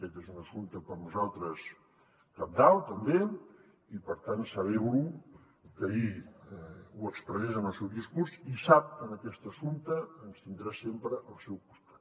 aquest és un assumpte per a nosaltres cabdal també i per tant celebro que ahir ho expressés en el seu discurs i sap que en aquest assumpte ens tindrà sempre al seu costat